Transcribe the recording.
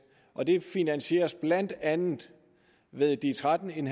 og det finansieres blandt andet ved de tretten